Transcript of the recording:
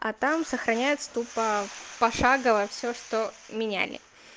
а там сохраняется тупо пошагово все что меняли